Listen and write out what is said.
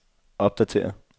opdatér